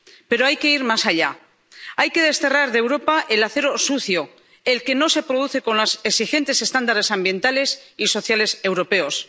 Pero hay que ir más allá hay que desterrar de Europa el acero sucio, el que no se produce con los exigentes estándares ambientales y sociales europeos.